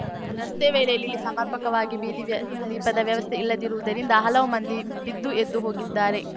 ರಸ್ತೆ ವೇಳೆಯಲ್ಲಿ ಇಲ್ಲಿ ಸಮರ್ಪಕವಾಗಿ ಬೀದಿ ದೀಪದ ವ್ಯವಸ್ಥೆ ಇಲ್ಲದಿರುವುದರಿಂದ ಹಲವು ಮಂದಿ ಬಿದ್ದುಎದ್ದು ಹೋಗಿದ್ದಾರೆ